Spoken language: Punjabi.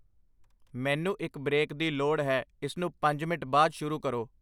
ਮੈਨੂੰ ਇੱਕ ਬ੍ਰੇਕ ਦੀ ਲੋੜ ਹੈ ਇਸਨੂੰ ਪੰਜ ਮਿੰਟ ਬਾਅਦ ਸ਼ੁਰੂ ਕਰੋ